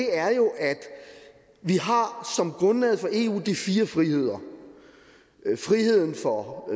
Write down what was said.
er jo at vi som grundlaget for eu har de fire friheder for